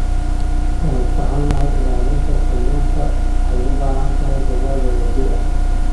Waan ka xunnahay, ilaalinta kalluunka waxay u baahan tahay dadaal wadajir ah.